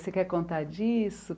Você quer contar disso?